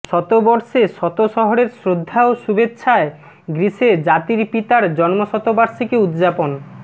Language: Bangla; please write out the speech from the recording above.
শতবর্ষে শত শহরের শ্রদ্ধা ও শুভেচ্ছায় গ্রিসে জাতির পিতার জন্মশতবার্ষিকী উদ্যাপন